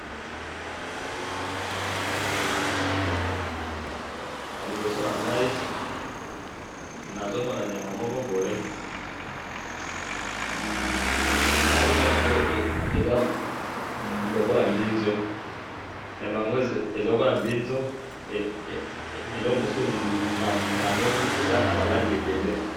na liboso na ngayi nazomona nyama moko boye nazo mona yango eza lokola mbinzu, eza lokola mbinzu eloko mosusu namoni eza naba langi ebele.